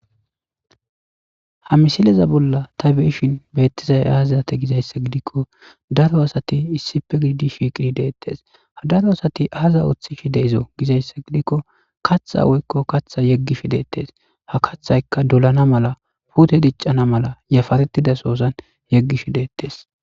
ha misileza bolla ta be'ishin beettizay azate gizayssa gidikko daro asati issipe gididi shiqid deettes ha daro asati aaza oththishshe de'izo gizayssa gidikko katha woykko katha yeggishi deettes ha kathaykka dolana mala pute diccana mala yaparetida sozan yeggishi deettes